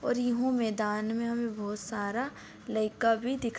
और इ हु मैदान में हमे बहुत सारा लइका भी दिख --